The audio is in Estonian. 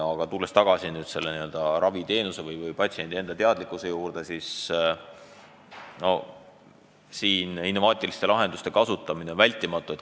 Aga tulles tagasi raviteenuse või patsiendi enda teadlikkuse juurde, siis ütlen, et siin on innovaatiliste lahenduste kasutamine vältimatu.